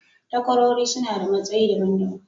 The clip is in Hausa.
takwarori suna da matsayi daban daban.